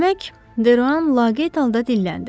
Demək, Deruan laqeyd halda dilləndi.